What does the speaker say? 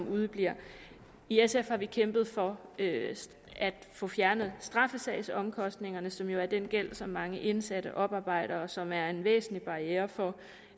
udebliver i sf har vi kæmpet for at få fjernet straffesagsomkostningerne som jo er den gæld som mange indsatte oparbejder og som er en væsentlig barriere for